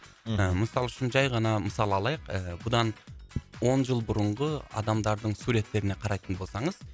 ы мысалы үшін жай ғана мысалы алайық ы бұдан он жыл бұрынғы адамдардың суреттеріне қарайтын болсаңыз